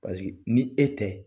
i e tɛ